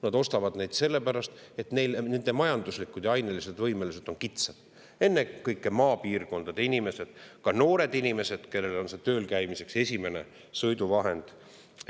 Nad ostavad neid sellepärast, et nende majanduslikud ja ainelised võimalused on kitsad, ennekõike Eesti maapiirkondade inimesed, ka noored inimesed, kellel on see tööl käimiseks esimene sõiduvahend.